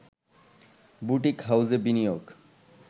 boutique হাউসে বিনিয়োগ